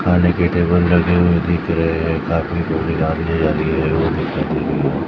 खाने के टेबल लगे हुए दिख रहे हैं एक आदमी को --